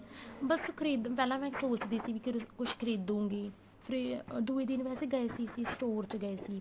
ਬੱਸ ਖਰੀਦਣ ਪਹਿਲਾਂ ਮੈਂ ਸੋਚਦੀ ਸੀ ਵੀ ਕੁੱਝ ਖਰੀਦੁ ਗੀ ਤੇ ਦੂਜੇ ਦਿਨ ਵੈਸੇ ਗਏ ਸੀ ਅਸੀਂ ਸਟੋਰ ਚ ਗਏ ਸੀ